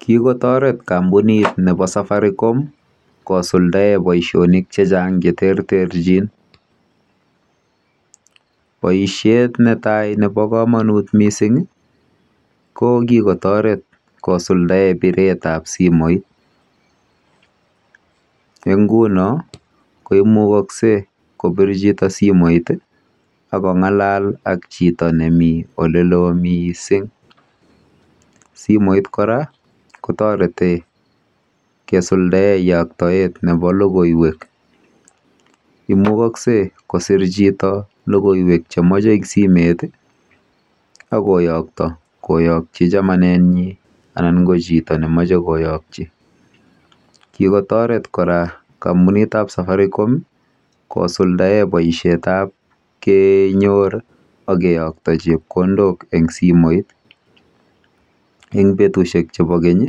Kikotaret kampunit nepo Safaricom kosuldae poishik che chang' che terterchin. Poishet ne tai nepo kamanut missing' ko kikotaret kosuldae piret ap simoit. Eng' nguno ko imukakse kopirto chito simoit ak kong'alal ak chito ne mitei ole lo missing'. Simoit kora kotareti kesudae yaktaet nepo logoiwek. Imukagse kosir chito logoiwek che mache eng' simet i ako yakta, koyakchi chamanenyi anan ko chito ne mache koyakchi. Kikotaret kora kampunit ap Safaricom i, kosuldae poishet ap kenyor ak keyakta chepkondok eng' simoit. Eng' petushek chepo keny i,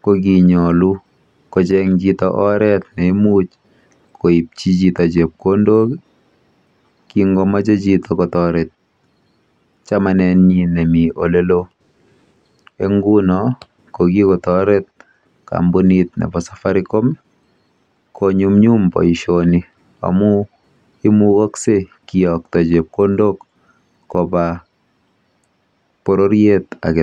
ko kinyalu kocheng' chito oret ne imuch koipchi chito chepkondok i, kingomache chito kotaret chamanenyi nemi ole loo. Eng' nguno ko kikptaret kampunit nepo Safaricom konyumnyum poishoni amu imugakse kiyakta chepkondok kopa pororiet age tugul.